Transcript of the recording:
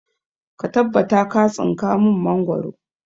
Ka tabbata ka tsinka mun mangoro!